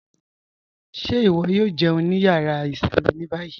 Ṣé iwọ̀ yóò jẹun ní yàrá ìṣinmí ní bayí?